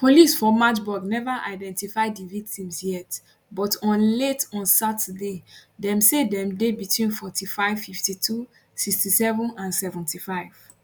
police for magdeburg neva identify di victims yet but on late on saturday dem say dem dey between 45 52 67 and 75